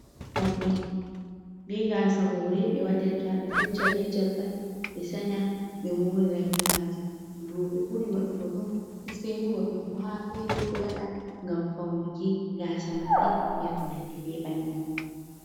Morɗi, be gasa hure ɓe waɗirta ɓe fecca be jalɓal ɓe sanya ɓe morira be majum. roɓe buri waɗugo ɗum seini worɓe fu ha fere ɗo waɗa ngam faunuki gasa maɓɓe be konandi be bannin.